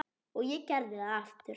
Og ég gerði það aftur.